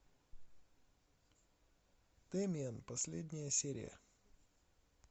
дэмиен последняя серия